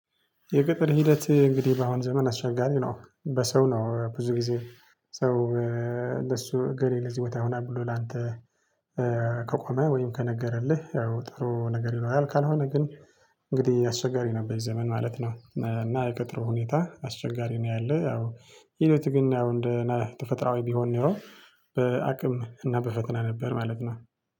የቅጥር ሂደት እንግዲህ በአሁን ዘመን አስቸጋሪ ነው በሰው ነው ብዙ ጊዜ። ሰው ለሱ እገሌ ለዚህ ቦታ ሆና ብሎ ላንተ። ከቆመ ወይም ከነገረልህ ያው ጥሩ ነገር ይለዋል ካልሆነ ግን እንግዲህ አስቸጋሪ ነበር ዘመን ማለት ነው። እና የቅጥሩ ሁኔታ አስቸጋሪ ነው ያለው። ይሉት ግን እንደ ነህ ተፈጥሮአዊ ቢሆን ኖሮ። በአቅም እና በፈተና ነበር ማለት ነው